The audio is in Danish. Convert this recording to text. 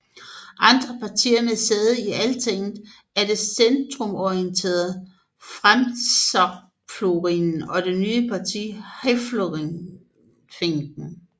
Andre partier med sæde i Altinget er det centrumorienterede Framsóknarflokkurinn og det nye parti Hreyfingin